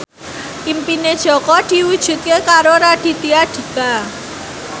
impine Jaka diwujudke karo Raditya Dika